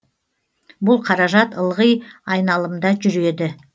бұл қаражат ылғи айналымда жүреді